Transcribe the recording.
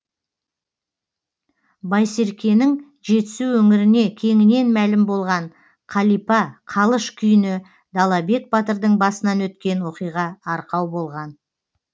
байсеркенің жетісу өңіріне кеңінен мәлім болған қалипа қалыш күйіне далабек батырдың басынан өткен оқиға арқау болған